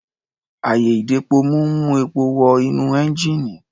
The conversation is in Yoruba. Àyè-ìdepomú ń mú epo wọ inú ẹ́ńjíìnì.